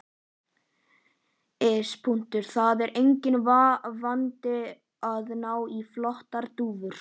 Iss. það er enginn vandi að ná í flottar dúfur.